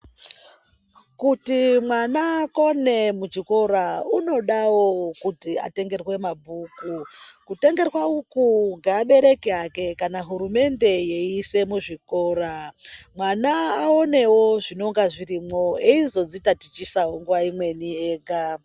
Kuti mwana akone muchikora unodawo kuti atengerwe mabhuku kutengerwa uku ngeabereki ake kana hurumende yeiisa muzvikora mwana aonewo zvinonga zvirimwo eizodzitatichisawo nguwa imweni ega.